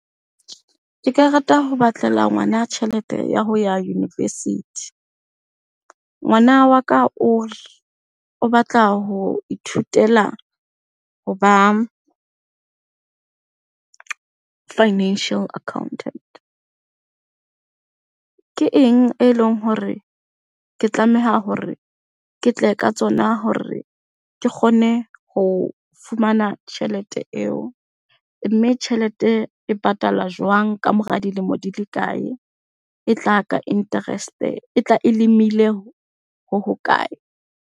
Ke ka rata ho batlela ngwana tjhelete ya ho ya university. Ngwana wa ka o batla ho ithutela hoba financial accountant. Ke eng e leng hore ke tlameha hore ke tle ka tsona hore ke kgone ho fumana tjhelete eo, mme tjhelete e patalwa jwang, kamora dilemo di le kae? E tla ka interest, e tla e ho hokae?